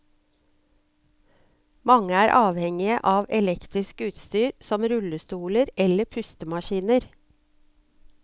Mange er avhengige av elektrisk utstyr, som rullestoler eller pustemaskiner.